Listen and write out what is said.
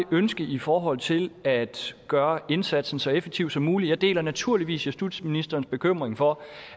ønskes i forhold til at gøre indsatsen så effektiv som muligt jeg deler naturligvis justitsministerens bekymring for